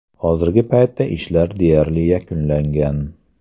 Hozirgi paytda ishlar deyarli yakunlangan.